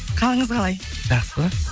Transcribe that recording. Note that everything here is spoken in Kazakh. қалыңыз қалай жақсы